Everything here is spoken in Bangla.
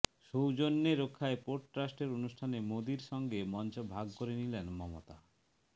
সৌজন্যে রক্ষায় পোর্ট ট্রাস্টের অনুষ্ঠানে মোদীর সঙ্গে মঞ্চ ভাগ করে নিলেন মমতা